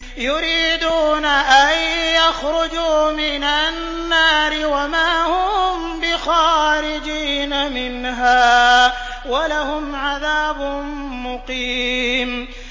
يُرِيدُونَ أَن يَخْرُجُوا مِنَ النَّارِ وَمَا هُم بِخَارِجِينَ مِنْهَا ۖ وَلَهُمْ عَذَابٌ مُّقِيمٌ